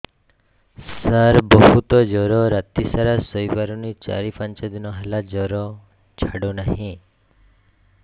ସାର ବହୁତ ଜର ରାତି ସାରା ଶୋଇପାରୁନି ଚାରି ପାଞ୍ଚ ଦିନ ହେଲା ଜର ଛାଡ଼ୁ ନାହିଁ